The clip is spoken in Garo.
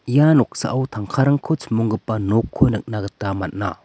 ia noksao tangkarangko chimonggipa nokko nikna gita man·a.